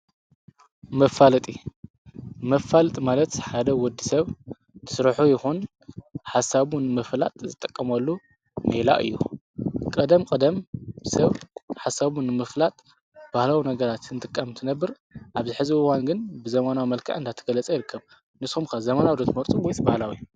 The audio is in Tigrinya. መፋልጢ መፋልጥ ማለት ሓደ ወዲ ሰብ ድሥርኁ ይኹን ሓሳቡን ምፍላጥ ዝጠቀምሉ ነይላ እዩ ቀደም ቀደም ሰብ ሓሳቡን ምፍላጥ ባህላዊ ነገራት እንትቃምቲ ነብር ኣብ ዝሕዘብዋንግን ብዘማና መልካ እንዳተገለጸ የርከብ ንስምካ ዘመናብዶት መርጽ ጐይት በሃላዊ።